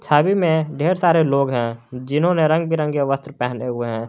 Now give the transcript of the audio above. छवि में ढेर सारे लोग हैं जिन्होंने रंग बिरंगे वस्त्र पहने हुए हैं।